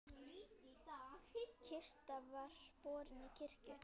Kista var borin í kirkju.